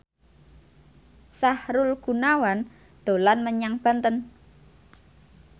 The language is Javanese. Sahrul Gunawan dolan menyang Banten